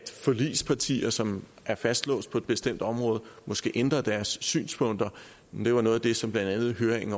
forligspartier som er fastlåst på et bestemt område måske ændrer deres synspunkter det var noget af det som blandt andet høringen